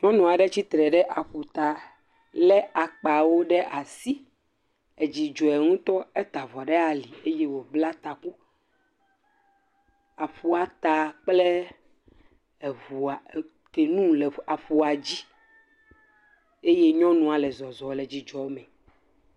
Nyɔnu aɖe tsi tre ɖe ƒuta lé akpawo ɖe asi. Dzi dzɔe ŋutɔ, eta avɔ le ali eye wobla taku. Kanu le aƒua dzi eye nyɔnua le zɔzɔm le dzidzɔ me.